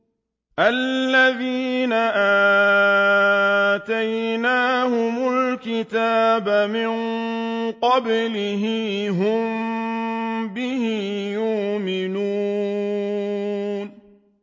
الَّذِينَ آتَيْنَاهُمُ الْكِتَابَ مِن قَبْلِهِ هُم بِهِ يُؤْمِنُونَ